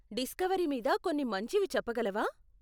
Discovery మీద కొన్ని మంచివి చెప్పగలవా?